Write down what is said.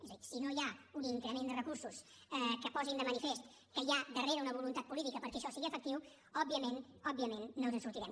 és a dir si no hi ha un increment de recursos que posin de manifest que hi ha darrere una voluntat política perquè això sigui efectiu òbviament òbviament no ens en sortirem